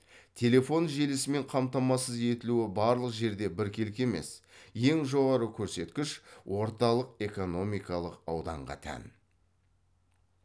телефон желісімен қамтамасыз етілуі барлық жерде біркелкі емес ең жоғары көрсеткіш орталық экономикалық ауданға тән